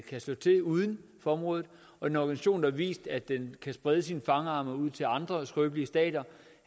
kan slå til uden for området og en organisation der har vist at den kan sprede sine fangarme ud til andre skrøbelige stater